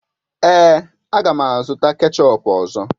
Èé, a ga m azụta kechọp ọzọ